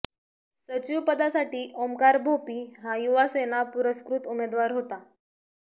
सचिव पदासाठी ओमकार भोपी हा युवासेना पुरस्कृत उमेदवार होता